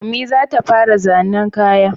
Ummi za ta fara zannen kaya